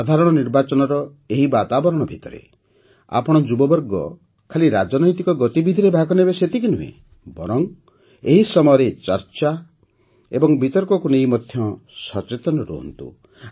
ସାଧାରଣ ନିର୍ବାଚନର ଏହି ବାତାବରଣ ଭିତରେ ଆପଣ ଯୁବବର୍ଗ ଖାଲି ରାଜନୈତିକ ଗତିବିଧିରେ ଭାଗ ନେବେ ସେତିକି ନୁହେଁ ବରଂ ଏହି ସମୟରେ ଚର୍ଚ୍ଚା ଏବଂ ବିତର୍କକୁ ନେଇ ମଧ୍ୟ ସଚେତନ ରୁହନ୍ତୁ